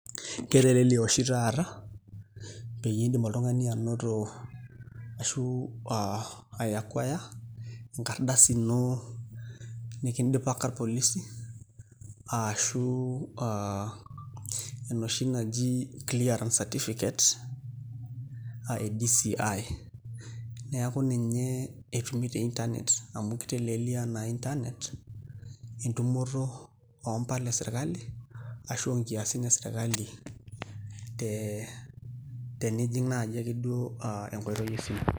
Ketelelia oshi taata peyie iindim oltung'ani anoto ashu ai acquire enkardasi ino nikindipaka irpolisi ashu aa enoshi naji clearance certificate aa e DCI neeku ninye etumi te internet amu kiteleliaa na internet entumoto oompala esirkali ashu onkiasin esirkali te nijing' naaji akeduo enkoitoi esimu.